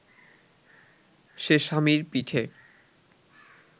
সে স্বামীর পিঠে